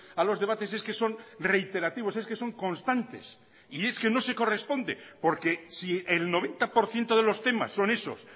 a los debates es que son reiterativos es que son constantes y es que no se corresponde porque si el noventa por ciento de los temas son esos